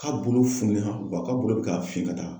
Ka bolo fununa wa ka bolo be ka fin ka taa.